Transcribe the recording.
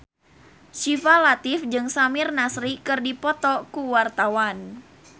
Syifa Latief jeung Samir Nasri keur dipoto ku wartawan